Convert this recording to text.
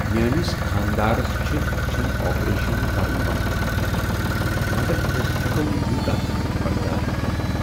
میٛٲنس خانٛدارس چھ أچھن آپریشن کرن ونٛنہٕ آمت مگر أسۍ ہیٚکو نہٕ یوٗتاہ خرچہٕ برداش کٔرتھ۔